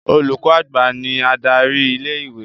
Olùkọ́ àgbà ní adarí ilé-ìwé.